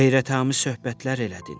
Heyrətamiz söhbətlər elədin.